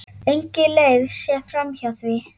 Engin leið sé framhjá því.